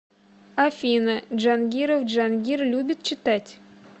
афина джангиров джангир любит читать